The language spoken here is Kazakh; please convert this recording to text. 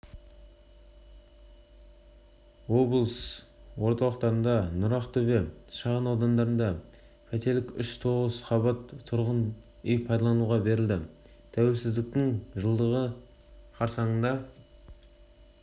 облыс орталығындағы нұрақтөбе шағын ауданында пәтерлік үш тоғыз қабатты тұрғын үй пайдалануға берілді тәуелсіздіктің жылдығы қарсаңында